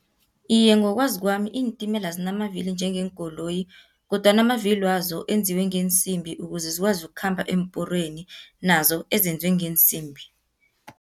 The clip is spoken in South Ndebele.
Iye, ngokwazi kwami iintimela zinamavili njengeenkoloyi, kodwana amavili wazo enziwe ngeensimbi, ukuze zikwazi ukukhamba eemporweni nazo ezenziwe ngeesimbi.